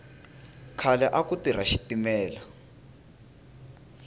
khale aku tirha xitimela